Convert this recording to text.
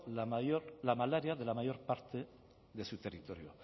la malaria de la mayor parte de su territorio